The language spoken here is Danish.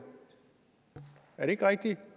er det ikke rigtigt